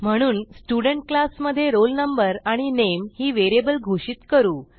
म्हणून student class मधे roll number आणि नामे ही व्हेरिएबल घोषित करू